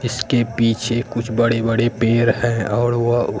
इसके पीछे कुछ बड़े बड़े पेर है औड़ वह--